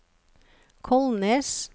Kolnes